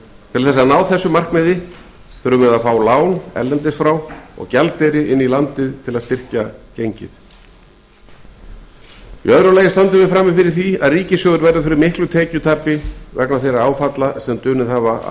til þess að ná þessu markmiði þurfum við að fá lán erlendis frá og gjaldeyri inn í landið til að styrkja gengið í öðru lagi stöndum við frammi fyrir því að ríkissjóður verður fyrir miklu tekjutapi vegna þeirra áfalla sem dunið hafa